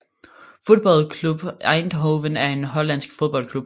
Football Club Eindhoven er en hollandsk fodboldklub